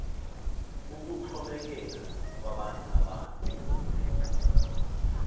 ukuxhomekeka kwabanye abantu